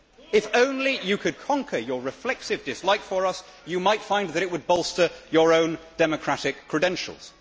If only you could conquer your reflexive dislike for us, you might find that it would bolster your own democratic credentials.